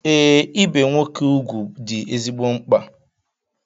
Ee, ibe nwoke ugwu dị ezigbo mkpa